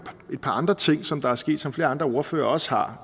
et par andre ting som der er sket og som flere andre ordførere også har